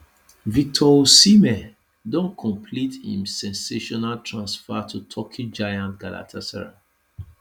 victor osimhen don complete im sensational transfer to turkey giants galatasaray